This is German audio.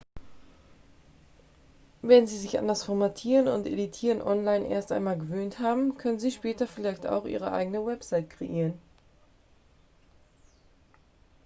wenn sie sich an das formatieren und editieren online erst einmal gewöhnt haben können sie später vielleicht auch ihre eigene webseite kreieren